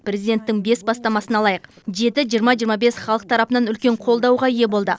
президенттің бес бастамасын алайық жеті жиырма жиырма бес халық тарапынан үлкен қолдауға ие болды